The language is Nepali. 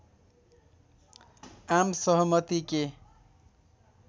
आम सहमति के